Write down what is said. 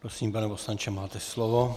Prosím, pane poslanče, máte slovo.